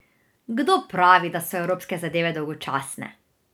Kdo pravi, da so evropske zadeve dolgočasne?